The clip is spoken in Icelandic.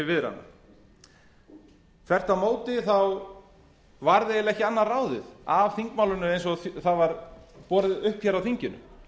til viðræðna þvert á móti var ekki annað ráðið af þingmálinu eins og það var borið upp á þinginu